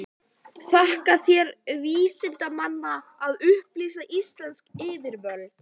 Þakka þér vinsemdina að upplýsa íslensk yfirvöld.